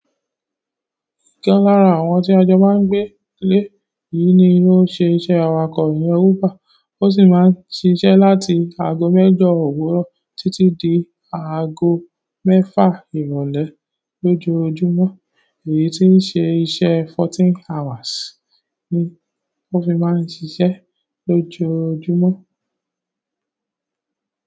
Ọ̀kan lára àwọn tí ajọ máa ń gbé lé yìí ni ó ṣe iṣẹ́ awakọ̀ ìyen uber, ó sì máa ń ṣíṣe láti aago mẹ́jọ owuró títí di aago mẹ́fà ìrọ̀lẹ́ lójoojúmọ́. Èyí ti n ṣe iṣẹ́ fourteen hours ni ó fi máa ń ṣiṣẹ́ lójoojúmọ́.